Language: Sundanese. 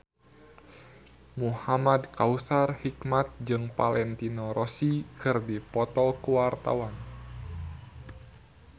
Muhamad Kautsar Hikmat jeung Valentino Rossi keur dipoto ku wartawan